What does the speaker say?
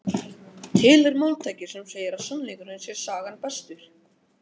Til er máltæki sem segir að sannleikurinn sé sagna bestur.